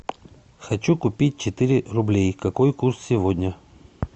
хочу купить четыре рублей какой курс сегодня